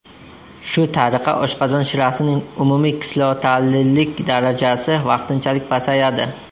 Shu tariqa oshqozon shirasining umumiy kislotalilik darajasi vaqtinchalik pasayadi.